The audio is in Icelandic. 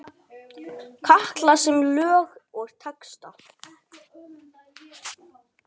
Katla semur lög og texta.